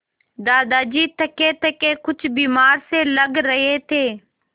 दादाजी थकेथके कुछ बीमार से लग रहे थे